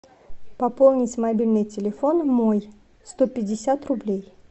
пополнить мобильный телефон мой сто пятьдесят рублей